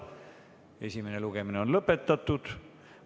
Esimene lugemine on lõpetatud.